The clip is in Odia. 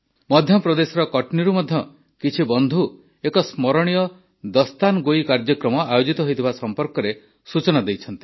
ମଧ୍ୟପ୍ରଦେଶର କଟ୍ନୀରୁ ମଧ୍ୟ କିଛି ବନ୍ଧୁ ଏକ ସ୍ମରଣୀୟ ଦାସ୍ତାନ୍ଗୋଇ କାର୍ଯ୍ୟକ୍ରମ ଆୟୋଜିତ ହୋଇଥିବା ସମ୍ପର୍କରେ ସୂଚନା ଦେଇଛନ୍ତି